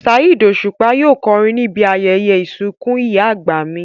Saheed Osupa yóò kọrin níbi ayẹyẹ ìsìnkú ìyá àgbà mi